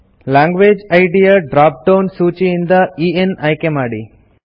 language ಇದ್ ಯ drop down ಸೂಚಿಯಿಂದ ಇಎನ್ ಆಯ್ಕೆ ಮಾಡಿ